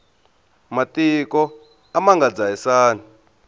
matiko a ma nga dzahisani